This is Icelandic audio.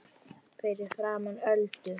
Fyrir framan Öldu.